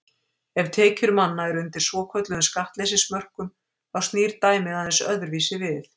Ef tekjur manna eru undir svokölluðum skattleysismörkum þá snýr dæmið aðeins öðruvísi við.